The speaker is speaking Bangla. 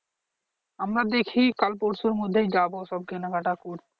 আমরা দেখি কাল পরশুর মধ্যে যাবো সব কেনাকাটা করতে